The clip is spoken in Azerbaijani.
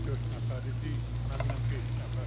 Dörd nəfər idik, mənlə beş nəfər.